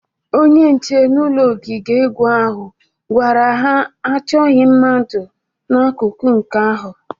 Onye nche n'ụlọ ogige egwu ahụ gwara ha achọghị mmadụ n'akụkụ nke ahu